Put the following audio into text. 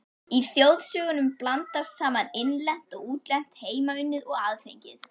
Í þjóðsögunum blandast saman innlent og útlent, heimaunnið og aðfengið.